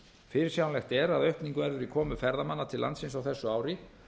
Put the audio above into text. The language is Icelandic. fyrirsjáanlegt er að aukning verður í komu ferðamanna til landsins á þessu ári